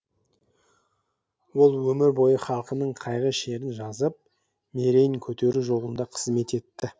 ол өмір бойы халқының қайғы шерін жазып мерейін көтеру жолында қызмет етті